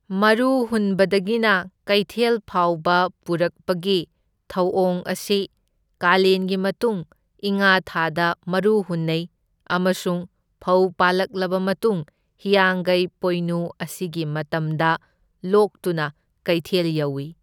ꯃꯔꯨ ꯍꯨꯟꯕꯗꯒꯤꯅ ꯀꯩꯊꯦꯜ ꯐꯥꯎꯕ ꯄꯨꯔꯛꯄꯒꯤ ꯊꯧꯑꯣꯡ ꯑꯁꯤ ꯀꯥꯂꯦꯟꯒꯤ ꯃꯇꯨꯡ ꯏꯉꯥ ꯊꯥꯗ ꯃꯔꯨ ꯍꯨꯟꯅꯩ ꯑꯃꯁꯨꯡ ꯐꯧ ꯄꯥꯜꯂꯛꯂꯕ ꯃꯇꯨꯡ ꯍꯤꯌꯥꯡꯒꯩ ꯄꯣꯏꯅꯨ ꯑꯁꯤꯒꯤ ꯃꯇꯝꯗ ꯂꯣꯛꯇꯨꯅ ꯀꯩꯊꯦꯜ ꯌꯧꯏ꯫